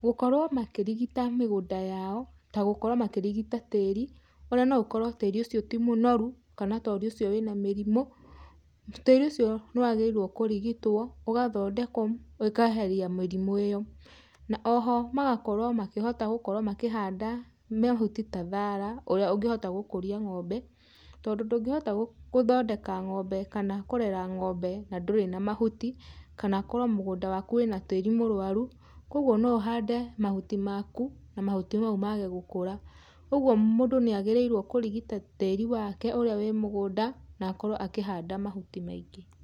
Gũkorwo makĩrigita mĩgũnda yao, ta gũkorwo makĩrigita tíĩri, ona no ũkorwo tĩĩri ucio ti mũnoru, kana tĩĩri ucio wĩ na mĩrimũ. Tĩĩri ucio nĩ wagĩrĩirwo kũrigitwo, ũgatondekwo ũkeheria mĩrimũ ĩyo. Na o ho magakorwo makĩhota gũkorwo makĩhanda mahuti ta thara, ũrĩa ũngĩhota gũkũria ngombe, tondũ ndũngĩhota gũthondeka ngombe kana kũrera ngombe na ndũrĩ na mahuti, kana korwo mũgunda waku wĩna tĩĩri mũrwaru. Kwoguo no uhande mahuti maku, na mahuti mau maage gũkũra. Uguo mũndũ nĩ aagirĩirwo kũrigita tĩĩri wake ũrĩa wĩ mũgũnda, na akorwo akĩhanda mahuti maingĩ.